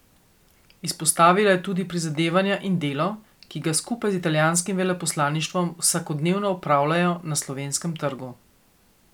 Izpostavila je tudi prizadevanja in delo, ki ga skupaj z italijanskim veleposlaništvom vsakodnevno opravljajo na slovenskem trgu.